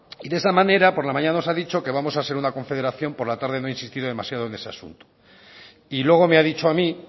y de esa manera por la mañana nos ha dicho que vamos a ser una confederación por la tarde no ha insistido demasiado en ese asunto y luego me ha dicho a mí